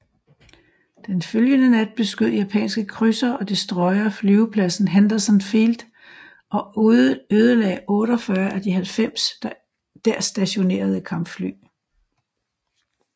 Den følgende nat beskød japanske krydsere og destroyere flyvepladsen Henderson Field og ødelagde 48 af de 90 der stationerede kampfly